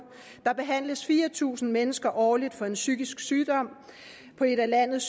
der behandles fire tusind mennesker årligt for en psykisk sygdom på et af landets